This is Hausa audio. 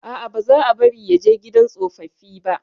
A'a, ba za bari ya je gidan tsofaffi ba.